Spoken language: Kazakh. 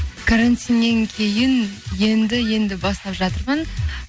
карантиннен кейін енді енді бастап жатырмын